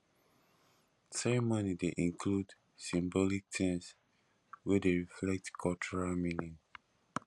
ceremony dey include symbolic things wey dey reflect cultural meaning